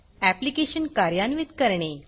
application कार्यान्वित करणे